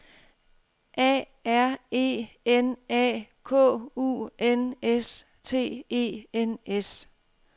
A R E N A K U N S T E N S